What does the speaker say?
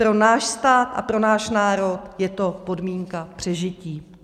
Pro náš stát a pro náš národ je to podmínka přežití.